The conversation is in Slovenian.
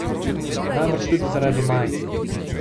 Najbrž tudi zaradi majice.